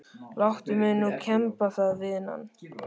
Láttu mig nú kemba það vinan.